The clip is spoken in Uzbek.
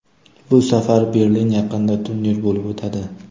Bu safar Berlin yaqinida turnir bo‘lib o‘tadi.